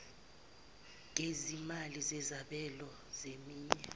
gezimali zezabelo zeminye